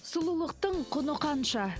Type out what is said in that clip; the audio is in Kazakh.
сұлулықтың құны қанша